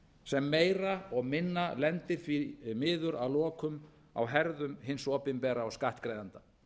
sem meira og minna lendir því miður að lokum á herðum hins opinbera og skattgreiðenda